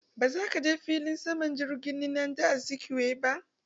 Ba zaka je filin jirgin saman nnamdi Azikiwe ba!